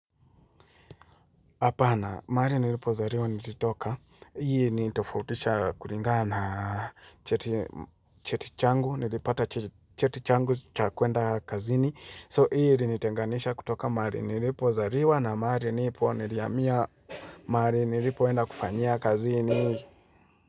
Apana, mahali nilipozaliwa nilitoka, hii nitofautisha kulingana cheti changu, nilipata cheti changu cha kwenda kazini. So hii ilinitenganisha kutoka mahali nilipozaliwa na mahali nipo nilihamia mahali nilipo enda kufanyia kazini.